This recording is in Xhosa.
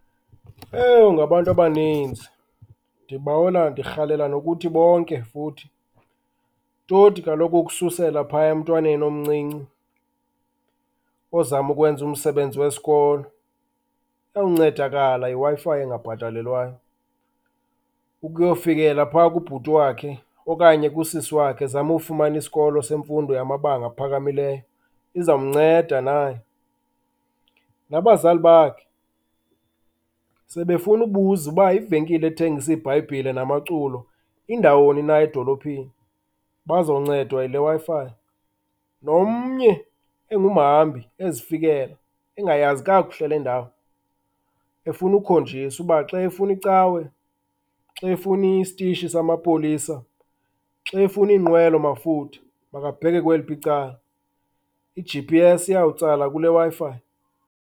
Ewu ngabantu abaninzi, ndibawela ndirhalela nokuthi bonke futhi, toti kaloku ukususela phaya emntwaneni omncinci ozama ukwenza umsebenzi wesikolo, uyawuncedakala Wi-Fi engabhatalelwayo, ukuyofukilela phaya kubhuti wakhe okanye kusisi wakhe ezama ukufumana isikolo semfundo yamabanga aphakamileyo izawumnceda naye. Nabazali bakhe sebefunubuza uba ivenkile ethengisa iiBhayibhile namaculo indawuni na edolophini, bazoncedwa yile Wi-Fi. Nomnye engumhambi ezifikela engayazi kakuhle le ndawo efunukhonjiswa uba xa efunicawe, xa efunisitishi samapolisa, xa efuniinkqwelomafutha makabheke kweliphi icala i-G_P_S iyawutsala kule Wi-Fi.